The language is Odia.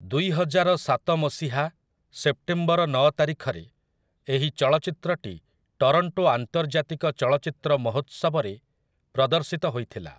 ଦୁଇହଜାରସାତ ମସିହା ସେପ୍ଟେମ୍ବର ନଅ ତାରିଖରେ ଏହି ଚଳଚ୍ଚିତ୍ରଟି ଟରଣ୍ଟୋ ଆନ୍ତର୍ଜାତିକ ଚଳଚ୍ଚିତ୍ର ମହୋତ୍ସବରେ ପ୍ରଦର୍ଶିତ ହୋଇଥିଲା ।